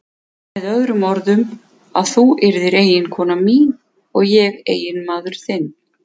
Með öðrum orðum: að þú yrðir eiginkona mín og ég eiginmaður þinn.